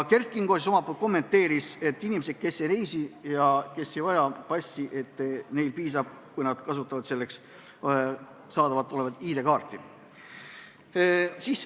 Kert Kingo omalt poolt kommenteeris, et kui inimesed ei reisi ega vaja passi, siis piisab, kui nad kasutavad ID-kaarti.